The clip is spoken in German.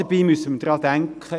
Dabei müssen wir daran denken: